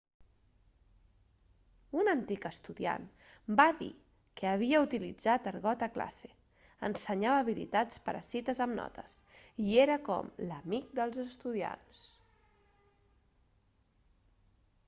un antic estudiant va dir que havia utilitzat argot a classe ensenyava habilitats per a cites amb notes i era com l'amic dels estudiants